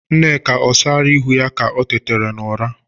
Nneka o sala ịhụ ya ka o tetara n'ụra?